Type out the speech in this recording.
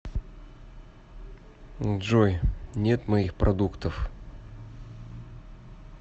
джой нет моих продуктов